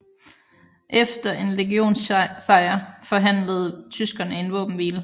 Efter en legionssejr forhandlede tyskerne en våbenhvile